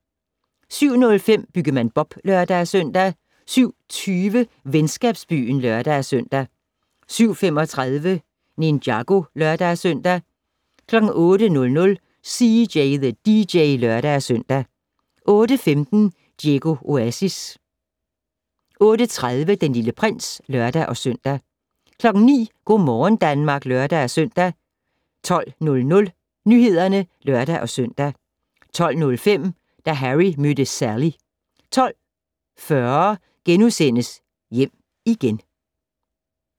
07:05: Byggemand Bob (lør-søn) 07:20: Venskabsbyen (lør-søn) 07:35: Ninjago (lør-søn) 08:00: CJ the DJ (lør-søn) 08:15: Diego Oasis 08:30: Den Lille Prins (lør-søn) 09:00: Go' morgen Danmark (lør-søn) 12:00: Nyhederne (lør-søn) 12:05: Da Harry mødte Sally 12:40: Hjem igen *